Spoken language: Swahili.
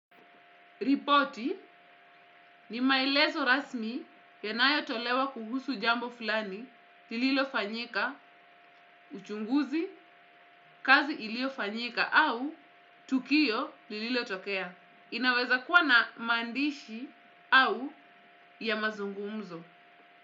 Ripoti ni maelezo rasmi yanayotolewa kuhusu jambo fulani, lililofanyika, uchunguzi, kazi iliyofanyika au tukio lililotokea. Inaweza kuwa na maandishi au ya mazungumzo.